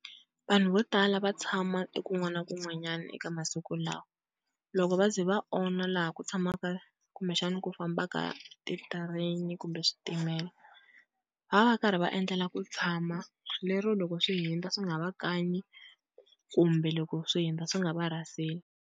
Vanhu vo tala va tshama ekun'wana na kun'wanyana eka masiku lawa, loko va ze va onha laha ku tshamaka kumbexana ku fambaka ti-train kumbe switimela, va va va karhi va endlela ku tshama lero loko swi hundza swi nga va kanyi kumbe loko swi hundza swi nga va rhaseli.